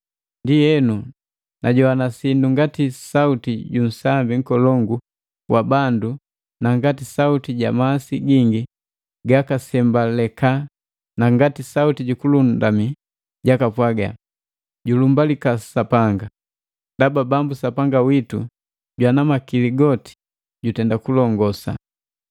Ndienu, najoana sindu ngati sauti junsambi nkolongu wa bandu na ngati sauti ja masi gingi gagasembaleka na ngati sauti ju kulundumi jakapwaga, ‘Julumbalika Sapanga!’ Ndaba bambu Sapanga witu Jwana Makili goti jutenda kulongosa!